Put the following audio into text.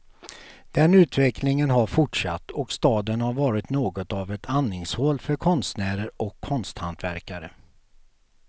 Den utvecklingen har fortsatt och staden har varit något av ett andningshål för konstnärer och konsthantverkare.